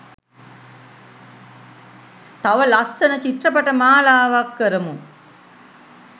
තව ලස්සන චිත්‍රපට මාලාවක් කරමු